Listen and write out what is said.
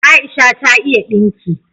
Aisha ta iya dinki